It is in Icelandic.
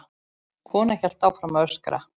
Konan hélt áfram að öskra.